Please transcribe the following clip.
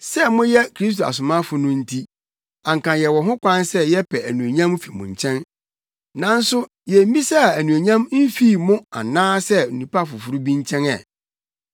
Sɛ moyɛ Kristo asomafo no nti, anka yɛwɔ ho kwan sɛ yɛpɛ anuonyam fi mo nkyɛn, nanso yemmisaa anuonyam mfii mo anaasɛ onipa foforo bi nkyɛn ɛ.